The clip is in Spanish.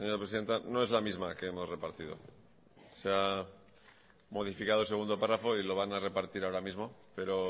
presidenta no es la misma que hemos repartido se ha modificado el segundo párrafo y lo van a repartir ahora mismo pero